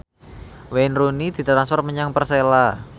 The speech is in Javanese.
Wayne Rooney ditransfer menyang Persela